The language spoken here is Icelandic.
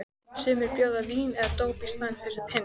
Sumir bjóða vín eða dóp í staðinn fyrir peninga.